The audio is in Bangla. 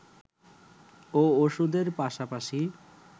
ও ওষুধের পাশাপাশি